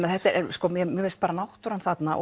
sko mér finnst bara náttúran þarna